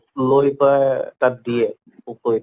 লৈ পা তাত দিয়ে পুখুৰীত